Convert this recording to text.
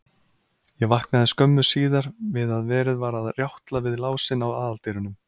Ég vaknaði skömmu síðar við að verið var að rjátla við lásinn á aðaldyrunum.